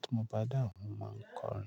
tí mo bá dà wa, mo máa ń kọrin.